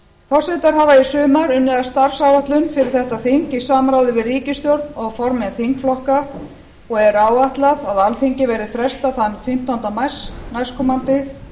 forsetar hafa í sumar unnið að starfsáætlun fyrir þetta þing í samráði við ríkisstjórn og formenn þingflokka og er áætlað að alþingi verði frestað fimmtánda mars næstkomandi